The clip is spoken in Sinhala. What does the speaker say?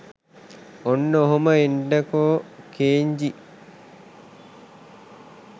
ඔන්න ඔහොම එන්නකෝ කෙන්ජි